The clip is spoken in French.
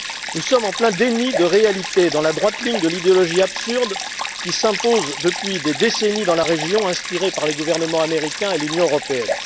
Nous sommes en plein déni de réalité, dans la droite ligne de l'idéologie absurde qui s'impose depuis des décennies dans la région, inspirée par les gouvernements américains et l'Union européenne.